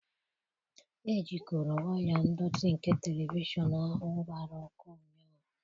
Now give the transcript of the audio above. Ejikọrọ waya ndọtị nke telivishọn ahụ gbara ọkụ ụnyahụ.